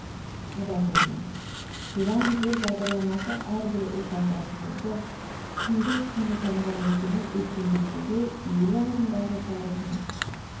адам болмас туған жер бағдарламасы әрбір отандасымызды кіндік қаны тамған өлкені өркендетуге елі алдындағы парызын